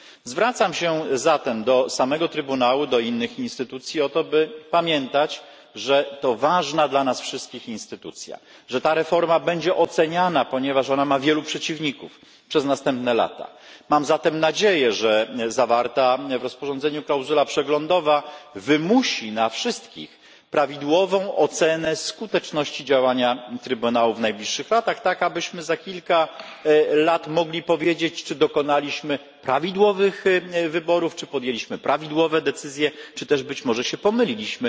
Zwracam się zatem do samego Trybunału i do innych instytucji o to, by pamiętać, że to ważna dla nas wszystkich instytucja, że ta reforma będzie oceniana przez następne lata, ponieważ ma ona wielu przeciwników. Mam zatem nadzieję, że zawarta w rozporządzeniu klauzula przeglądowa wymusi na wszystkich prawidłową ocenę skuteczności działania Trybunału w najbliższych latach, tak abyśmy za kilka lat mogli powiedzieć, czy dokonaliśmy właściwych wyborów, czy podjęliśmy słuszne decyzje, czy być może się pomyliliśmy.